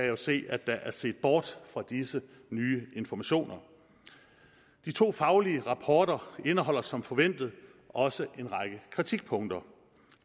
jo se at der er set bort fra disse nye informationer de to faglige rapporter indeholder som forventet også en række kritikpunkter